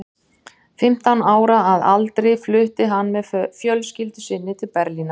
Fimmtán ára að aldri flutti hann með fjölskyldu sinni til Berlínar.